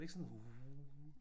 Var det ikke var det ikke sådan wuh